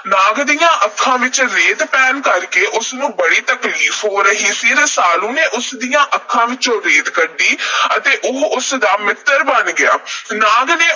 ਨਾਗ ਦੀਆਂ ਅੱਖਾਂ ਵਿਚ ਰੇਤ ਪੈਣ ਕਰਕੇ ਉਸਨੂੰ ਬੜੀ ਤਕਲੀਫ਼ ਹੋ ਰਹੀ ਸੀ। ਰਸਾਲੂ ਨੇ ਉਸ ਦੀਆਂ ਅੱਖਾਂ ਵਿੱਚੋਂ ਰੇਤ ਕੱਢੀ ਅਤੇ ਉਹ ਉਸ ਦਾ ਮਿੱਤਰ ਬਣ ਗਿਆ। ਨਾਗ ਨੇ